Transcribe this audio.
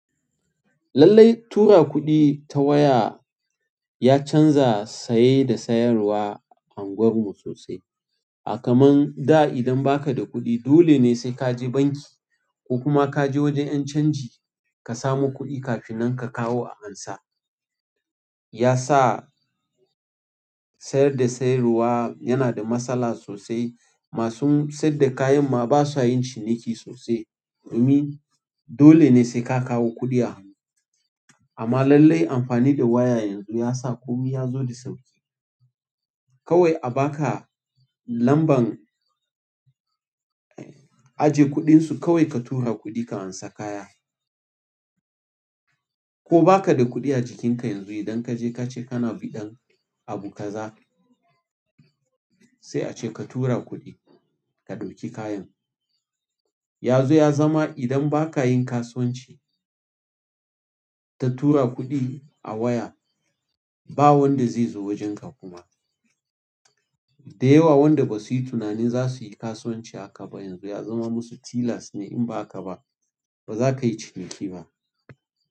Lallai tura kuɗi ta waya ya canza saye da sayarwa unguwarmu sosai. A kaman da idan baka da kuɗi dole ne sai ka je banki ko kuma ka je wajen ƴan canji ka samu kuɗi kafinan ka kawo a ansa. Ya sa sayar da sayarwa yana da matsala sosai. Masu sayadda kayan ma ba sa yin ciniki sosai. Domin dole ne sai ka kawo kuɗi a hanu amma lallai amfani da waya yanzu ya sa komi ya zo da sauƙi. Kawai a baka lamban ajiye kuɗinsu kawai ka tura kuɗi ka ansa kaya. Ko baka da kuɗi a jikinka yanzu idan kaje kace kana biɗan abu kaza sai a ce ka tura kuɗi ka ɗauki kayan. Ya zo ya zama idan baka yin kasuwanci ka tura kuɗin a waya ba wanda zai zo wajenka kuma. Dayawa wanda basu yi tunanin zasuyi kasuwanci haka ba yanzu ya zama musu tilas ne in ba haka ba bazaka iya ciniki ba.